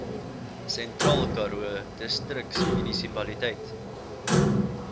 sentraalkaroo distriksmunisipaliteit